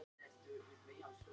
Svipað er að segja um japönsku.